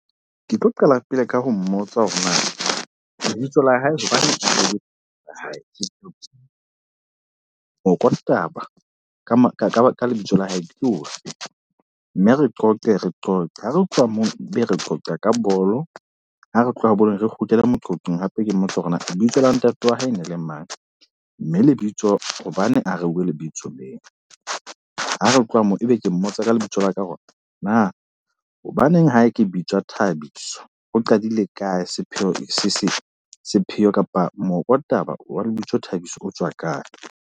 Ke tlo qala pele ka ho mmotsa hore na lebitso la hae hobaneng moko taba ka lebitso la hae ke ofe. Mme re qoqe re qoqe. Ha re tloha moo be re qoqe ka bolo. Ha re tloha bolong re kgutlele moqoqong hape ke mmotse hore na lebitso la ntate wa hae e ne le mang. Mme lebitso hobane a reuwe lebitso leo. Ha re tloha moo, ebe ke mmotsa ka lebitso la ka na hobaneng ha ke bitswa Thabiso. Ho qadile kae, sepheo sa sepheo kapa moko taba wa lebitso Thabiso o tswa kae.